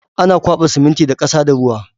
Ana kwaɓa siminti da ƙasa da ruwa